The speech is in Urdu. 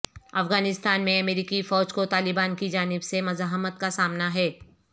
افغانستان میں امریکی فوج کو طالبان کی جانب سے مزاحمت کا سامنا ہے